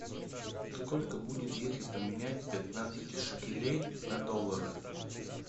сколько будет если поменять пятнадцать шекелей на доллары